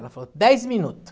Ela falou, dez minuto.